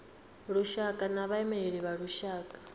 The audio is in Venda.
lushaka na vhaimeleli vha lushaka